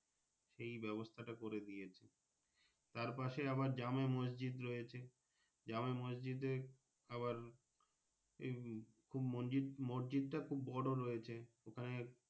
সেই ব্যাবস্থা টা করে দিয়েছে তার পাশে আবার জামা মসজিদ রয়েছে জামা মসজিদে আবার উম খুব মসজিদ মসজিদটা খুব বড়ো রয়েছে ওখানে।